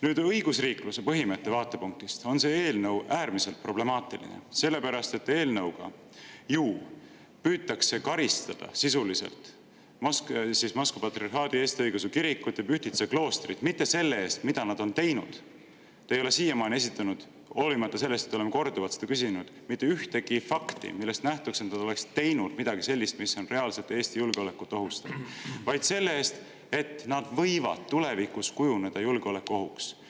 Nüüd, õigusriikluse põhimõtte vaatepunktist on see eelnõu äärmiselt problemaatiline, sellepärast et eelnõuga ju püütakse sisuliselt karistada Moskva Patriarhaadi Eesti Õigeusu Kirikut ja Pühtitsa kloostrit mitte selle eest, mida nad on teinud – te ei ole siiamaani, hoolimata sellest, et ma olen seda korduvalt küsinud, esitanud mitte ühtegi fakti, millest nähtuks, et nad oleksid teinud midagi sellist, mis reaalselt Eesti julgeolekut ohustaks –, vaid selle eest, et nad võivad tulevikus kujuneda julgeolekuohuks.